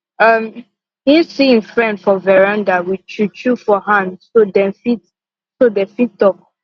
um him see him friend for veranda with chew chew for hand so dem fit so dem fit talk